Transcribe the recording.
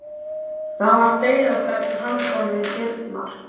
Það var dauðaþögn handan við dyrnar.